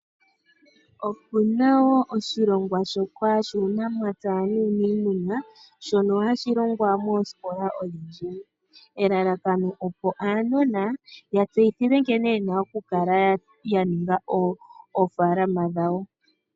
Opu na oshilongwa shoka shuunamapya nuuniimuna shono hashi longwa moosikola odhindji nelalakano opo aanona ya tseyithilwe nkene ye na okundulukapo oofaalama dhawo.